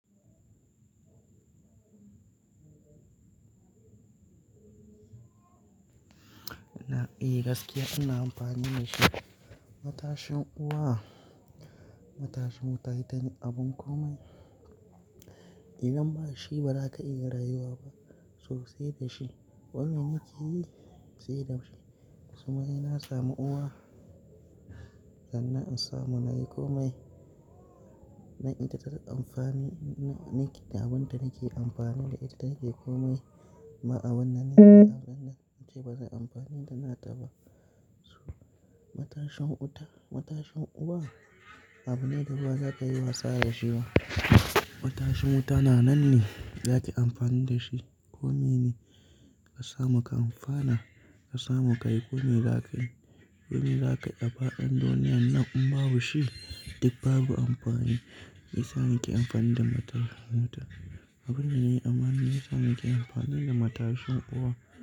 Eh gaskiya ana amfani da shi. Matashin uwa, matashin wuta ita ne abin komai. Idan ba shi ba zaka iya rayuwa ba sosai da shi. Wane nake yi sai da shi. Suma ina samu uwa sannan in samu na yi komai. Na ita ta amfani, na nake abin da nake amfani da ita nake komai. Ma abin da nake abun nan ace bazan amfani da nata ba. Matashin wuta, matashin uwa abu ne da bazaka iya wasa da shi ba. Matashin wuta na nan ne, zaki yi amfani da shi. Komai ne ka samu ka amfana, ka samu ka yi komai zaka yi. Komai zaka yi a faɗin duniyan nan in babu shi duk babu amfani. Me yasa nake amfani da matar wuta? Abin ne amma me yasa nake amfani da matashin uwa?